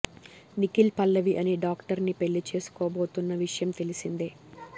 నిఖిల్ పల్లవి అనే డాక్టర్ ని పెళ్లి చేసుకోబోతున్న విషయం తెలిసిందే